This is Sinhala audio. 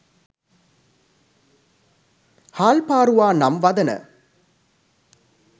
හාල් පාරුවා නම් වදන